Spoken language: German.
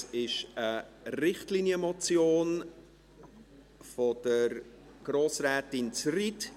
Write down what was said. Dies ist eine Richtlinienmotion von Grossrätin Zryd.